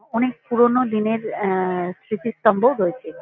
অ অনেক পুরোনো দিনের আ-আ স্মৃতির স্তম্ভও রয়েছে।